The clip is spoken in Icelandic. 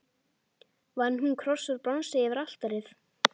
Vann hún kross úr bronsi yfir altarið.